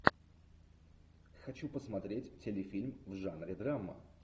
хочу посмотреть телефильм в жанре драма